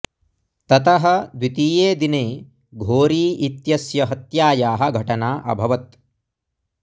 ततः द्वितीये दिने घोरी इत्यस्य हत्यायाः घटना अभवत्